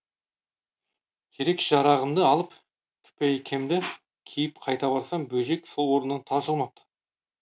керек жарағымды алып күпәйкемді киіп қайта барсам бөжек сол орнынан тапжылмапты